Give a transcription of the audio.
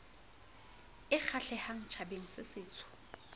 e kgahlehang tjhabeng se setsho